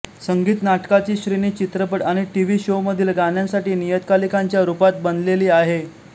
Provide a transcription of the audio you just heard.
संगीत नाटकाची श्रेणी चित्रपट आणि टीव्ही शोमधील गाण्यांसाठी नियतकालिकांच्या रूपात बनलेली आहे